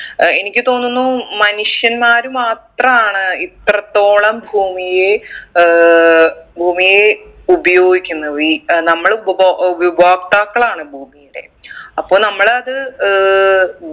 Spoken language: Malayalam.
ഏർ എനിക്ക് തോന്നുന്നു മനുഷ്യന്മാർ മാത്രാണ് ഇത്രത്തോളം ഭൂമിയെ ഏർ ഭൂമിയെ ഉപയോഗിക്കുന്ന വി ഏർ നമ്മൾ ഉപഭൊ ഉപഭോക്താക്കളാണ് ഭൂമിടെ അപ്പൊ നമ്മള് അത് ഏർ